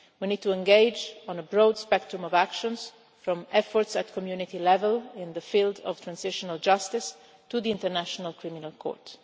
We need to engage on a broad spectrum of actions from efforts at Community level in the field of transitional justice to the International Criminal Court.